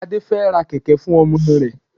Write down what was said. Adé fẹ ra kẹ̀kẹ́ fún ọmọ rẹ̀.